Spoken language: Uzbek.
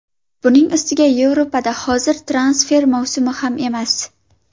Buning ustiga Yevropada hozir transfer mavsumi ham emas.